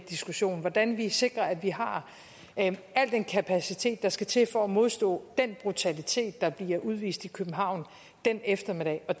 diskussion om hvordan vi sikrer at vi har al den kapacitet der skal til for at modstå den brutalitet der bliver udvist i københavn den eftermiddag og